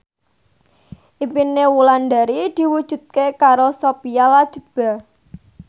impine Wulandari diwujudke karo Sophia Latjuba